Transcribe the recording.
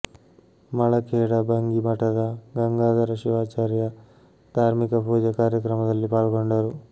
ಮಳಖೇಡ ಭಂಗಿ ಮಠದ ಗಂಗಾಧರ ಶಿವಾಚಾರ್ಯ ಧಾರ್ಮಿಕ ಪೂಜೆ ಕಾರ್ಯಕ್ರಮದಲ್ಲಿ ಪಾಲ್ಗೊಂಡರು